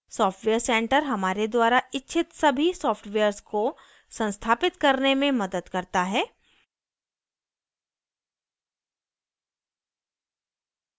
software center हमारे द्वारा इच्छित सभी सॉफ्टवेयर्स को संस्थापित करने में मदद करता है